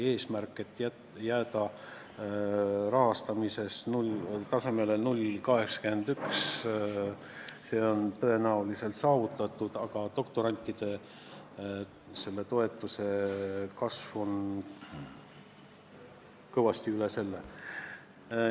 Eesmärk jääda rahastamises tasemele 0,81% on tõenäoliselt saavutatud, aga doktorantide toetuse kasv on kõvasti üle selle.